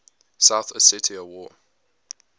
south ossetia war